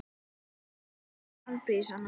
Ég ákvað að gera hann afbrýðisaman.